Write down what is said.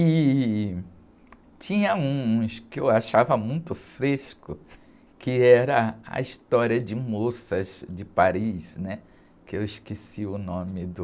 E tinha uns que eu achava muito frescos, que era a história de moças de Paris, né? Que eu esqueci o nome do...